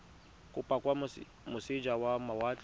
kopo kwa moseja wa mawatle